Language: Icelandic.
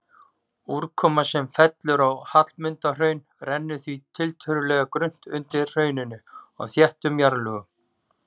Úrkoma sem fellur á Hallmundarhraun rennur því tiltölulega grunnt undir hrauninu á þéttum jarðlögum.